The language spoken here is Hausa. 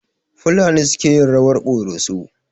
Fulani suke yin rawar ƙoroso.